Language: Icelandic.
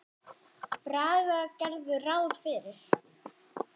Braga gerðu ráð fyrir.